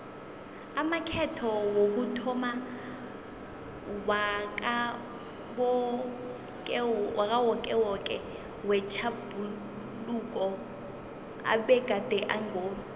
amakhetho wokuthomma wakawokewoke wetjhaphuluko abegade ango